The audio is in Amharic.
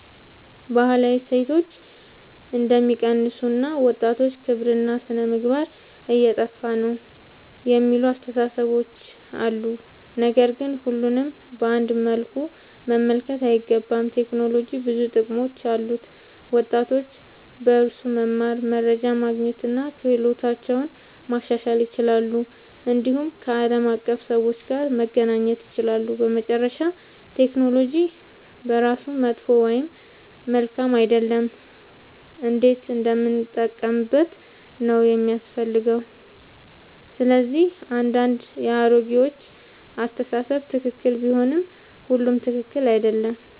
ባህላዊ እሴቶች እንደሚቀንሱ እና ወጣቶች ክብርና ሥነ-ምግባር እየጠፋ ነው የሚሉ አስተያየቶች አሉ። ነገር ግን ሁሉንም በአንድ መልኩ መመልከት አይገባም። ቴክኖሎጂ ብዙ ጥቅሞች አሉት፤ ወጣቶች በእርሱ መማር፣ መረጃ ማግኘት እና ክህሎታቸውን ማሻሻል ይችላሉ። እንዲሁም ከዓለም አቀፍ ሰዎች ጋር መገናኘት ይችላሉ። በመጨረሻ ቴክኖሎጂ በራሱ መጥፎ ወይም መልካም አይደለም፤ እንዴት እንደምንጠቀምበት ነው የሚያስፈልገው። ስለዚህ አንዳንድ የአሮጌዎች አስተያየት ትክክል ቢሆንም ሁሉም ትክክል አይደለም።